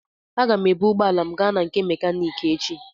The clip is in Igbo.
Aga m ebu ụgbọala m gaa na nke mekaniki echi.